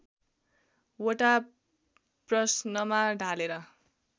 वटा प्रश्नमा ढालेर